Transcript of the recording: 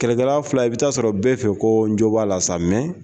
Kɛlɛkɛla fila i bɛ taa sɔrɔ bɛɛ fɛ ko n jo b'a la sa mɛ.